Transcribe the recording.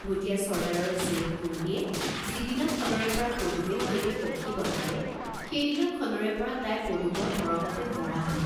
ভুটীয়া চৰ্দ্দাৰৰ জীয়েক কুৰ্ম্মীয়ে যিদিনাখনৰে পৰা পদুমে সৈতে সখি বন্ধালে, সেই দিনাখনৰে পৰা তাই পদুমৰ মৰমতে মৰা হল।